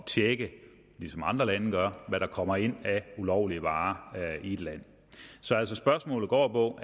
tjekke ligesom andre lande gør hvad der kommer ind af ulovlige varer i et land så spørgsmålet går på